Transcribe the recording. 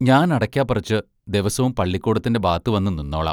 ഞാൻ അടയ്ക്കാ പറച്ച് ദെവസോം പള്ളിക്കൂടത്തിന്റെ ബാത് വന്നു നിന്നോളാം.